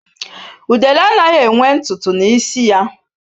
Udele anaghị enwe ntụ ntụ na isi ya